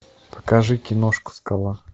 покажи киношку скала